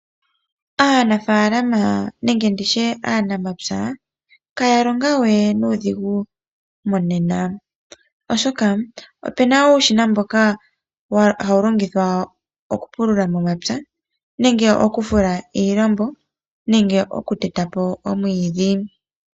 Aanafaalama nenge nditye aanamapya itaya longowe nuudhigu monena, oshoka opena uushina mboka hawu longithwa okupulula momapya, okufula iilambo nenge okuteta po omwiidhi.